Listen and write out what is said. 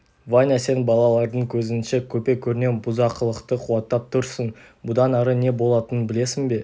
ваня сен балалардың көзінше көпе-көрнеу бұзақылықты қуаттап тұрсың бұдан ары не болатынын білесің бе